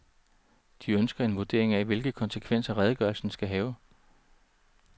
De ønsker en vurdering af, hvilke konsekvenser redegørelsen skal have.